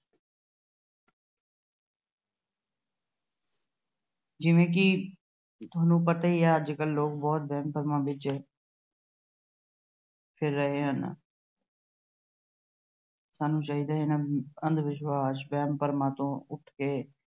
ਜਿਵੇਂ ਕਿ ਤੁਹਾਨੂੰ ਪਤਾ ਹੀ ਹੈ ਕਿ ਅੱਜ-ਕੱਲ੍ਹ ਲੋਕ ਬਹੁਤ ਵਹਿਮ ਭਰਮਾਂ ਵਿੱਚ ਫਿਰ ਰਹੇ ਹਨ। ਸਾਨੂੰ ਚਾਹੀਦਾ ਹੈ ਕਿ ਇਹਨਾਂ ਅੰਧ-ਵਿਸ਼ਵਾਸ, ਵਹਿਮ-ਭਰਮਾਂ ਤੋਂ ਉਠ ਕੇ